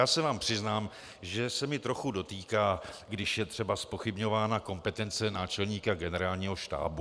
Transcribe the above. Já se vám přiznám, že se mě trochu dotýká, když je třeba zpochybňována kompetence náčelníka Generálního štábu.